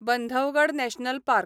Bandhavgarh national park